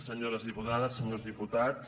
senyores diputades senyors diputats